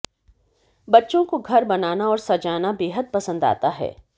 बच्चों को घर बनाना औऱ सजाना बेहद पसंद आता है